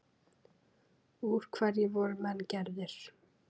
Úr hverju voru menn gerðir?